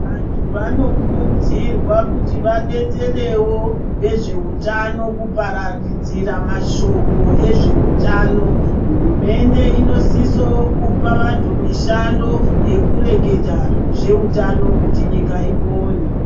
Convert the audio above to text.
Vantu vanokurudzirwa kuti vadetserewo vezveutano kupararadzira mashoko ezveutano. Hurumende inosiso kupa anhu mushando yekureketa zveutano kuti nyika ipone.